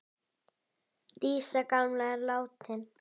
Dísa gamla er látin.